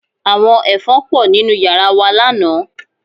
Àwọn Ẹ̀fọn pọ̀ nínú yàrá wa lánàá